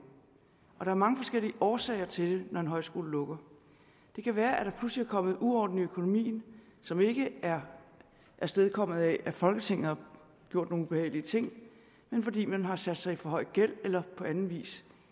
og der er mange forskellige årsager til det når en højskole lukker det kan være at der pludselig er kommet uorden i økonomien som ikke er afstedkommet af at folketinget har gjort nogle ubehagelige ting men fordi man har sat sig i for høj gæld eller på anden vis